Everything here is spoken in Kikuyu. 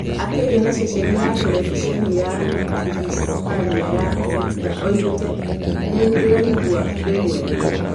Akĩaria na ceceni ya terebiceni ya kĩhispania ya Sexta oigĩte "nĩ ndĩraigua ndĩ mwega"